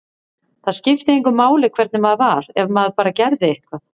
Það skipti engu máli hvernig maður var, ef maður bara gerði eitthvað.